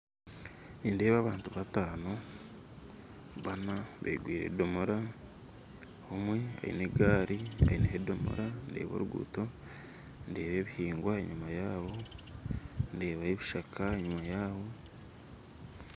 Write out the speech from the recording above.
Nindeeba abantu bataano, baana begwire edomora, omwe ayine egaari, beineho edomora ndeba oruguto, ndeba ebihingwa enyima yaabo, ndebayo ebishaaka enyima yaabo